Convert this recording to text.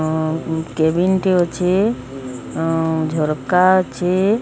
ଆଁ ଉଁ କେବିନ୍ ଟେ ଅଛି ଆଁ ଝର୍କା ଅଛି।